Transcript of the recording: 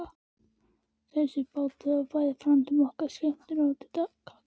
Þessi bátur varð okkur frændum bæði til skemmtunar og gagns.